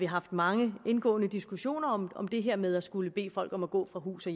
haft mange indgående diskussioner om om det her med at skulle bede folk om at gå fra hus og